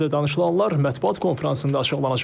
Görüşlərdə danışılanlar mətbuat konfransında açıqlanacaqdır.